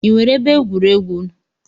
I nwere ebe egwuregwu n'